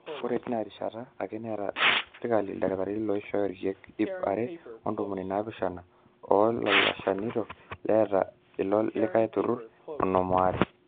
ore teina rishata ake neeta sirkali ildakitarini ooishooyo irkeek ip are ontomoni naapishana o naalishana neeta ilo likai turrurr onom ooare